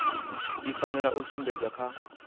i fanela u sumbedzwa kha